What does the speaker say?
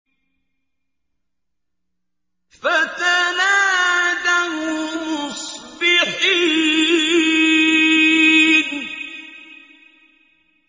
فَتَنَادَوْا مُصْبِحِينَ